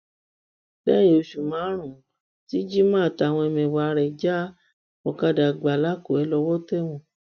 lẹyìn oṣù márùnún tí jimoh àtàwọn ẹmẹ̀wà rẹ̀ já ọkadà gbà làkúnrẹ lọwọ tẹ wọn